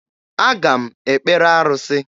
Aga m ekpere arụsị.